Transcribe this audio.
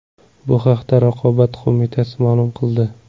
Bu haqda Raqobat qo‘mitasi ma’lum qildi .